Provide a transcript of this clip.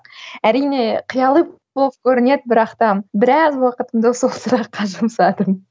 әрине қияли болып көрінеді бірақ та біраз уақытымды осы сұраққа жұмсадым